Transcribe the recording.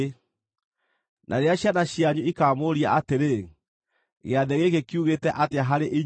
Na rĩrĩa ciana cianyu ikamũũria atĩrĩ, ‘Gĩathĩ gĩkĩ kiugĩte atĩa harĩ inyuĩ?’